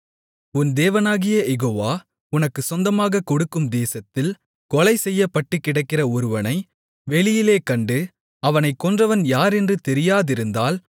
உன் தேவனாகிய யெகோவா உனக்குச் சொந்தமாகக் கொடுக்கும் தேசத்தில் கொலை செய்யப்பட்டுக்கிடக்கிற ஒருவனை வெளியிலே கண்டு அவனைக் கொன்றவன் யார் என்று தெரியாதிருந்தால்